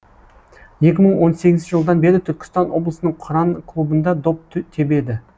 екі мың он сегізінші жылдан бері түркістан облысының қыран клубында доп тебеді